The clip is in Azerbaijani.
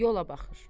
Yola baxır.